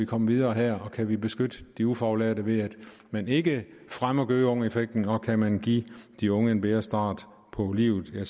komme videre her kan vi beskytte de ufaglærte ved at man ikke fremmer gøgeungeeffekten og kan man give de unge en bedre start på livet